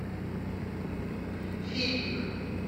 фильмик